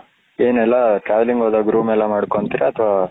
ಏನೆಲ್ಲಾ family ಎಲ್ಲ ಹೋದ room ಮಾಡ್ಕೊಂತೀರಾ ಅತ್ವ